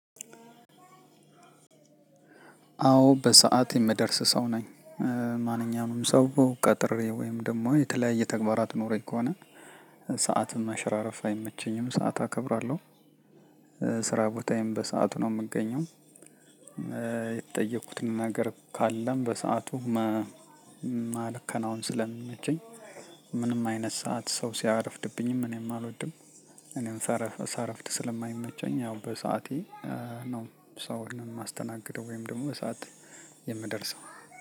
አዎ በሰአት የምደርስ ሰው ነኝ። ማንኛውንም ሰው ቀጥሬ ወይም ደግሞ የተለያየ ተግባራት ኖሮኝ ከሆነ። ሰዓትም መሽራረፍ አይመቸኝም ሰዓት አከብራለሁ። ስራ ቦታዬም በሰአቱ ነው የምገኘው። የተጠየኩትን ነገር ካለም በሰአቱ ማል ከናወን ስለሚመቸኝ። ምንም አይነት ሰዓት ሰው ሲያረፍድብኝም እኔም አልወድም። እኔም ሳረፍ ሳረፍድ ስለማይመቸኝ ያው በሰአቴ። ነው ሰውን የማስተናግደው ወይም ደግሞ በሰአት የምደርሰው።